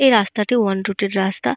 এই রাস্তাটি one route এর রাস্তা।